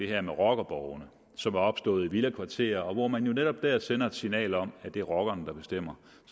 det her med rockerborgene som er opstået i villakvarterer og hvor man jo netop dér sender et signal om at det er rockerne der bestemmer